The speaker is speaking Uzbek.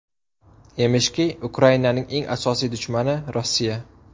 Emishki, Ukrainaning eng asosiy dushmani Rossiya.